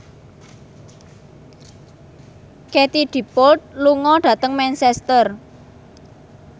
Katie Dippold lunga dhateng Manchester